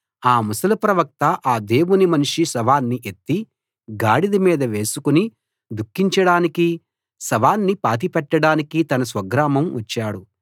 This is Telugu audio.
ఆ ముసలి ప్రవక్త అ దేవుని మనిషి శవాన్ని ఎత్తి గాడిద మీద వేసుకుని దుఃఖించడానికీ శవాన్ని పాతి పెట్టడానికీ తన స్వగ్రామం వచ్చాడు